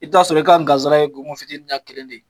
I bi t'a sɔrɔ i ka n gan sara ye gongon fitini ɲa kelen de ye